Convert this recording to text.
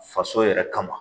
Faso yɛrɛ kama